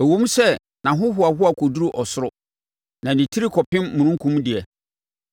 Ɛwom sɛ nʼahohoahoa kɔduru ɔsoro, na ne tiri kɔpem omununkum deɛ,